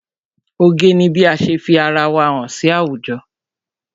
Oge ni bí ase fi ara wa hàn sí àwùjọ.